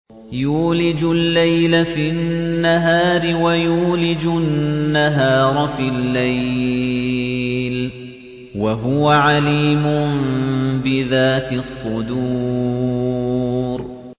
يُولِجُ اللَّيْلَ فِي النَّهَارِ وَيُولِجُ النَّهَارَ فِي اللَّيْلِ ۚ وَهُوَ عَلِيمٌ بِذَاتِ الصُّدُورِ